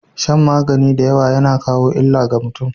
Shan magani dayawa yAna kawo illa ga mutun